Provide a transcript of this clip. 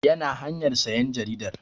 Yana hanyar sayan jaridar